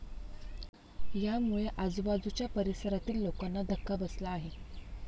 यामुळे आजूबाजुच्या परिसरातील लोकांना धक्का बसला आहे.